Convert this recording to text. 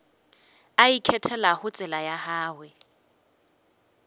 a ikgethelago tsela ya gagwe